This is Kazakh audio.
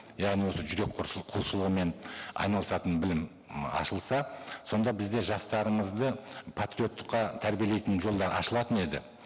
яғни осы жүрек құлшылығымен айналысатын білім ашылса сонда бізде жастарымызды патриоттыққа тәрбиелейтін жолдар ашылатын еді